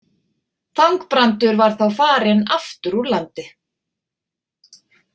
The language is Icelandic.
Þangbrandur var þá farinn aftur úr landi.